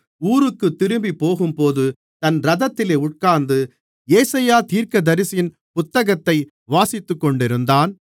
ஊருக்குத் திரும்பிப்போகும்போது தன் இரதத்திலே உட்கார்ந்து ஏசாயா தீர்க்கதரிசியின் புத்தகத்தை வாசித்துக்கொண்டிருந்தான்